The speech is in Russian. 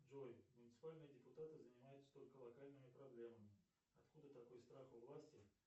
джой муниципальные депутаты занимаются только локальными проблемами откуда такой страх у власти